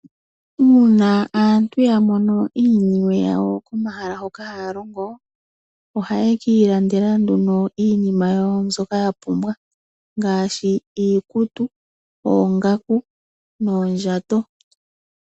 Uuna aantu ya mono iiniwe yawo komahala hoka haya longo ohaye ki ilandela nduno iinima yawo mbyoka ya pumbwa ngaashi iikutu, oongaku noondjato.